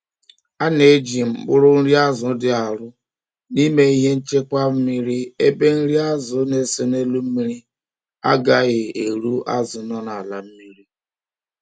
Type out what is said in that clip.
A na eji mkpụrụ nri azu di arụ n'ime ihe nchekwa mmiri ebe nri azu na ese n'elụ mmiri agaghi erụ azu nọ n'ala mmiri